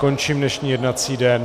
Končím dnešní jednací den.